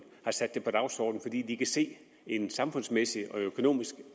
har sat på dagsordenen fordi de kan se en samfundsmæssig og økonomisk